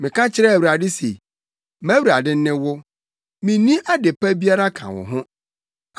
Meka kyerɛɛ Awurade se, “MʼAwurade ne wo; minni ade pa biara ka wo ho.”